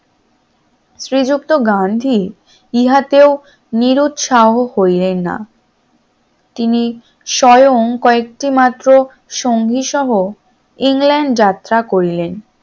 শ্রীযুক্ত গান্ধী ইহাতেও করিলেন না তিনি স্বয়ং কয়েকটি মাত্র সঙ্গিসহ ইংল্যান্ড যাত্রা করিলেন